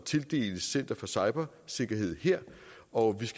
tildeles center for cybersikkerhed og